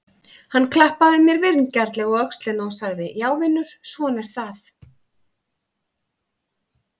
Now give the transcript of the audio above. Hann klappaði mér vingjarnlega á öxlina og sagði: Já vinur, svona er það.